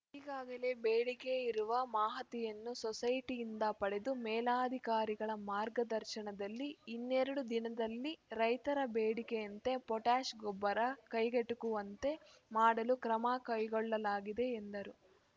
ಈಗಾಗಲೇ ಬೇಡಿಕೆ ಇರುವ ಮಾಹತಿಯನ್ನು ಸೊಸೈಟಿಯಿಂದ ಪಡೆದು ಮೇಲಾಧಿಕಾರಿಗಳ ಮಾರ್ಗದರ್ಶನದಲ್ಲಿ ಇನ್ನೆರಡು ದಿನದಲ್ಲಿ ರೈತರ ಬೇಡಿಕೆಯಂತೆ ಪೊಟ್ಯಾಷ್‌ ಗೊಬ್ಬರ ಕೈಗೆಟುಕುವಂತೆ ಮಾಡಲು ಕ್ರಮ ಕೈಗೊಳ್ಳಲಾಗಿದೆ ಎಂದರು